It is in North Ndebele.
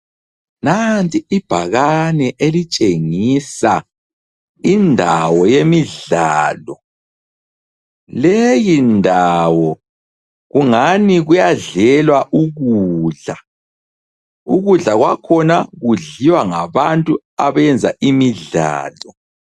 Nanti ibhakani elitshengisa indawo yemidlalo, leyi ndawo kungani kuyadlelwa ukudla. Ukudla kwakhona kudliwa ngabantu abenza imidlalo.